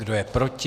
Kdo je proti?